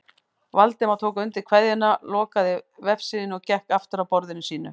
Valdimar tók undir kveðjuna, lokaði vefsíðunni og gekk aftur að borðinu sínu.